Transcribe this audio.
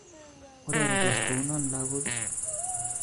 Ureretos kounon lagok i?